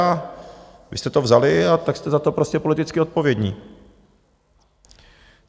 A vy jste to vzali a tak jste za to prostě politicky odpovědní.